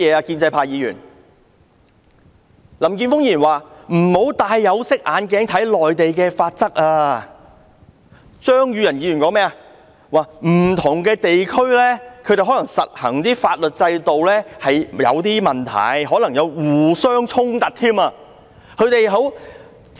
林健鋒議員說不要戴有色眼鏡看內地的法例，張宇人議員說不同地區實行的法律制度可能有點問題，還可能互相衝突。